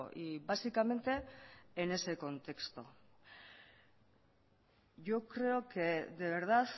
y básicamente en ese contexto yo creo que de verdad